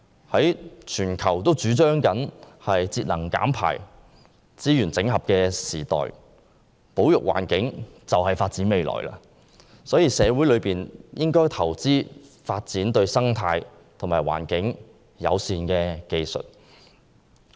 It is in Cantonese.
在全球主張節能減排、資源整合的時代，保育環境便是發展未來，所以社會應投資發展對生態和環境友善的技術。